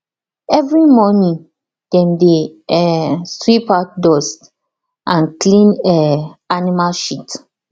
every morning dem dey um sweep out dust and clean um animal shit